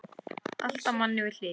Alltaf manni við hlið.